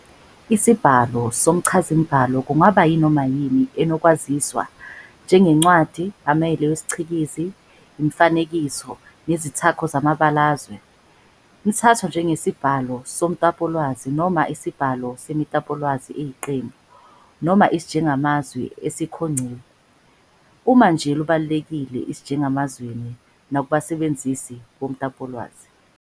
Isibhalo somchazamibhalo kungaba yinoma yini enokwaziswa, njengencwadi, amahele wesiCikizi, imifanekiso, nezithako zamabalazwe njll, nethathwa njengesibhalo somtapolwazi, noma isibhalo semitapolwazi eyiqembu, noma isijengamazwi esikhongciwe, sekhasilwebu, uma nje lubalulekile esijengamazwini nakubasebenzisi bomtapolwazi.